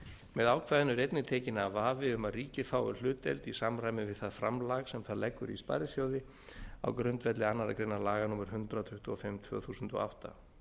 með ákvæðinu er einnig tekinn af vafi um að ríkið fái hlutdeild í samræmi við það framlag sem það leggur í sparisjóði á grundvelli annarrar greinar laga númer hundrað tuttugu og fimm tvö þúsund og átta